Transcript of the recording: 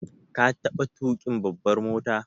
Ka taɓa tuƙin babbar mota?